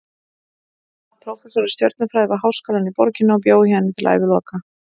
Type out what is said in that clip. Hann varð prófessor í stjörnufræði við háskólann í borginni og bjó í henni til æviloka.